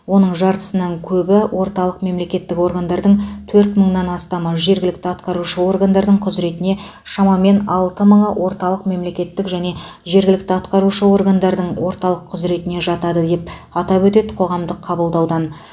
оның жартысынан көбі орталық мемлекеттік органдардың төрт мыңнан астамы жергілікті атқарушы органдардың құзіретіне шамамен алты мыңы орталық мемлекеттік және жергілікті атқарушы органдардың ортақ құзіретіне жатады деп атап өтеді қоғамдық қабылдаудан